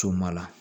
Co ma la